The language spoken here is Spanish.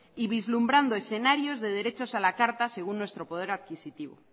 y vislumbrando escenarios de derechos a la carta según nuestro poder adquisitivo